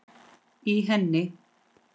í henni